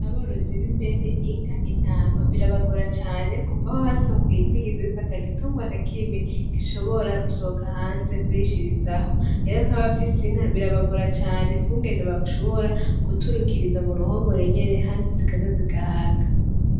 Aborozi b'impene, inka, intama birabagora cane kuva aho hasohokeye itegeko yuko atagitungwa nakimwe gishobora gusohoka hanze kurishirizaho. Rero nk'abafise inka, birabagora cane kungene bashobora guturukiriza muruhongore nyene kandi zikarya zigahaga.